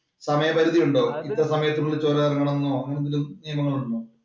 സമയ പരിധി ഉണ്ടോ? ഇത്ര സമയത്തിനുള്ളില്‍ ചൊരം എറങ്ങണം എന്നോ അങ്ങനെ എന്തെങ്കിലും നിയമങ്ങള്‍ ഉണ്ടോ?